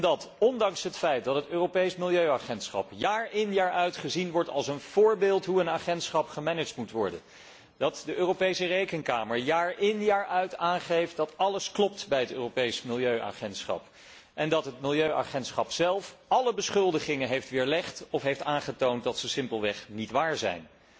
Dat ondanks het feit dat het Europees Milieuagentschap jaar in jaar uit gezien wordt als een voorbeeld van hoe een agentschap gemanaged moet worden, dat de Europese Rekenkamer jaar in jaar uit aangeeft dat alles klopt bij het Europees Milieuagentschap, en dat het Milieuagentschap zelf alle beschuldigingen heeft weerlegd of heeft aangetoond dat ze simpelweg niet waar zijn.